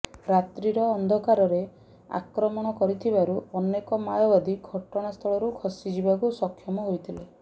ରାତିର ଅନ୍ଧକାରରେ ଆକ୍ରମଣ କରିଥିବାରୁ ଅନେକ ମାଓବାଦୀ ଘଟଣାସ୍ଥଳରୁ ଖସି ଯିବାକୁ ସକ୍ଷମ ହୋଇଥିଲେ